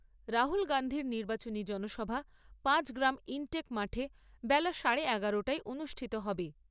রাহুল গান্ধীর নির্বাচনী জনসভা পাঁচগ্রাম ইনটেক মাঠে বেলা সাড়ে এগারোটায় অনুষ্ঠিত হবে।